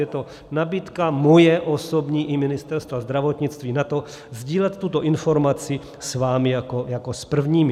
Je to nabídka moje osobní i Ministerstva zdravotnictví na to sdílet tuto informaci s vámi jako s prvními.